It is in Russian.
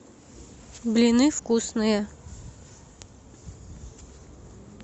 блины вкусные